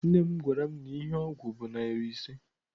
Nne m gwaram na ihe ogwu bu nari ise.